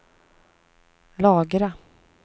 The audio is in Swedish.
lagra